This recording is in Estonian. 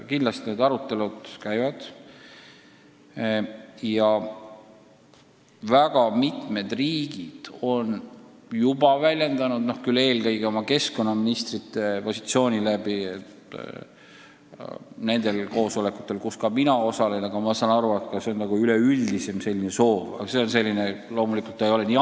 Kindlasti need arutelud käivad ja väga mitmed riigid on juba väljendanud nendel koosolekutel, kus mina ka käin, eelkõige oma keskkonnaministrite suu läbi seisukohta, et kliimapoliitika meetmetele peaks eraldama senisest rohkem Euroopa Liidu vahendeid.